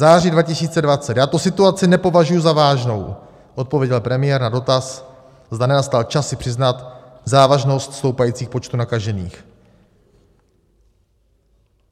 Září 2020: Já tu situaci nepovažuji za vážnou, odpověděl premiér na dotaz, zda nenastal čas si přiznat závažnost stoupajících počtů nakažených.